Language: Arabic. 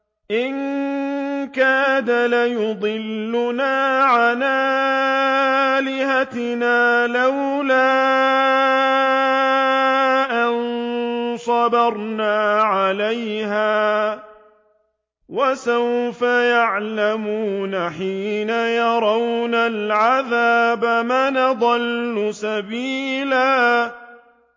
إِن كَادَ لَيُضِلُّنَا عَنْ آلِهَتِنَا لَوْلَا أَن صَبَرْنَا عَلَيْهَا ۚ وَسَوْفَ يَعْلَمُونَ حِينَ يَرَوْنَ الْعَذَابَ مَنْ أَضَلُّ سَبِيلًا